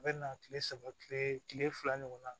A bɛ na kile saba kile fila ɲɔgɔn na